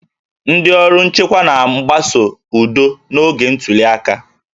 Ndị ọrụ nchekwa na-agbaso udo n'oge ntuli aka